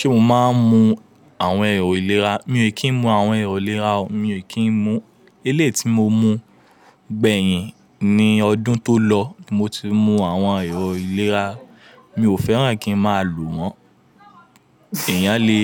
Ṣé mo máa ń mu àwọn ẹ̀rọ ìlera? Mi ò kín mu àwọn ẹ̀rọ ìlera o. Mi ò kín mu. Eléyìí tí mo mu gbẹ̀hìn ní ọdún tó lọ mo ti mu àwọn ẹ̀rọ ìlera. Mi ò fẹ́ràn kí n máa lò wọ́n. Èèyàn lè